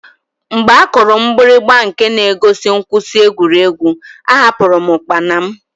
Mgbe a kụrụ mgbirigba nke na-egosi mkwụsị egwuregwu, ahapụru m ụkpana m.